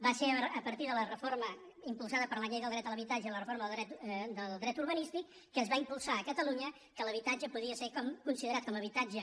va ser a partir de la reforma impulsada per la llei del dret a l’habitatge i la reforma del dret urbanístic que es va impulsar a catalunya que l’habitatge podia ser considerat com a habitatge